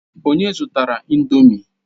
Onye zụtara ị̀ndómị́?